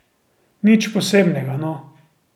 Nič posebnega, no.